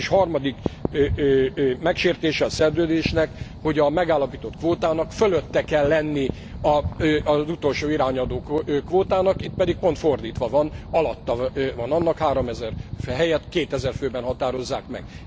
És harmadik megsértése a szerződésnek, hogy a megállapított kvótának fölötte kell lennie az utolsó irányadó kvótának, itt pedig pont fordítva van, alatta van annak, háromezer helyett kétezer főben határozzák meg.